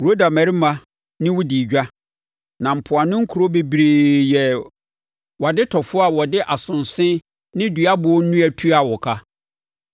“ ‘Roda mmarima ne wo dii edwa, na mpoano nkuro bebree yɛɛ wʼadetɔfoɔ a wɔde asonse ne duaboɔ nnua tuaa wo ka.